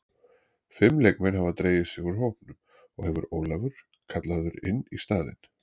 Fimm leikmenn hafa dregið sig úr hópnum og hefur Ólafur kallaður inn í staðinn.